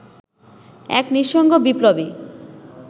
এক নিঃসঙ্গ বিপ্লবী